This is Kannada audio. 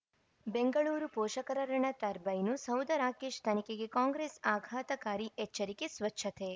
ಬೆಂಗಳೂರು ಪೋಷಕರಋಣ ಟರ್ಬೈನು ಸೌಧ ರಾಕೇಶ್ ತನಿಖೆಗೆ ಕಾಂಗ್ರೆಸ್ ಆಘಾತಕಾರಿ ಎಚ್ಚರಿಕೆ ಸ್ವಚ್ಛತೆ